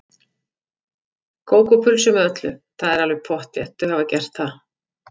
Kók og pulsu með öllu, það er alveg pottþétt, þau hafa gert það.